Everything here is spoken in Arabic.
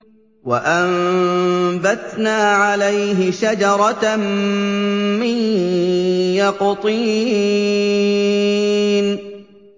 وَأَنبَتْنَا عَلَيْهِ شَجَرَةً مِّن يَقْطِينٍ